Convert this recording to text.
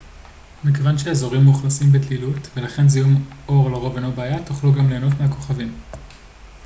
מכיוון שהאזורים מאוכלסים בדלילות ולכן זיהום אור לרוב אינו בעיה תוכלו גם ליהנות מהכוכבים